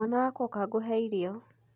Mwana wakwa ũka gũhe irio.